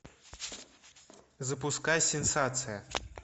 запускай сенсация